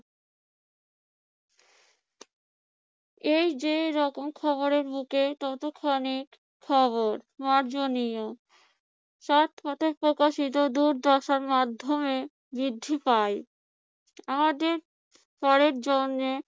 এই যে রকম খবরের ততখানি খবর মার্জনীয়। সৎ পথে প্রকাশিত দুর্দশার মাধ্যমে বৃদ্ধি পায়। আমাদের পরের জন্মে